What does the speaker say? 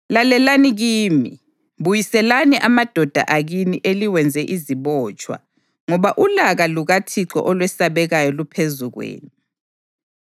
Lalelani kimi! Buyiselani amadoda akini eliwenze izibotshwa, ngoba ulaka lukaThixo olwesabekayo luphezu kwenu.”